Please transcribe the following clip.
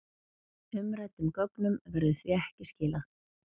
Umræddum gögnum verður því ekki skilað